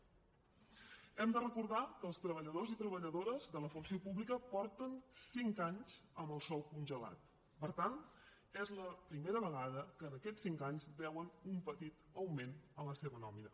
hem de recordar que els treballadors i treballadores de la funció pública porten cinc anys amb el sou congelat per tant és la primera vegada que en aquests cinc anys veuen un petit augment en la seva nòmina